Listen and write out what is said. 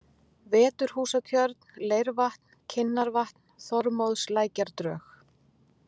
Veturhúsatjörn, Leirvatn, Kinnarvatn, Þormóðslækjardrög